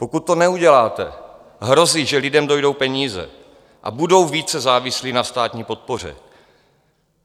Pokud to neuděláte, hrozí, že lidem dojdou peníze a budou více závislí na státní podpoře.